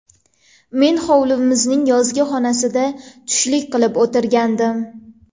Men hovlimizning yozgi oshxonasida tushlik qilib o‘tirgandim.